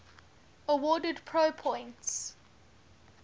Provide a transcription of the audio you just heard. awarded pro points